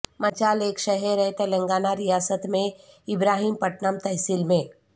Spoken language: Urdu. منچال ایک شہر ہے تلنگانہ ریاست میں ابراہیم پٹنم تحصیل میں